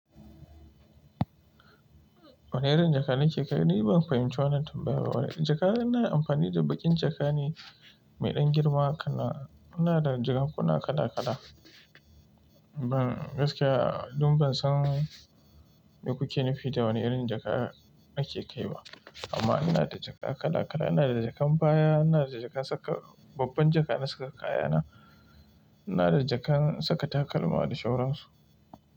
Wane irin jaka ne ke kai? Ni ban fahimci wannan tambayar ba. Jaka, ana amfani da baƙin jaka ne mai ɗan girma kana. Muna da jakakkuna kala kala. Ban gaskiya, don ban san me kuke nufi da wane irin jaka nake kai ba. Amma ina da jaka kala kala, ina da jakan baya, ina da jakan saka, babban jaka na saka kayana, ina da jakan saka takalma da shauran su.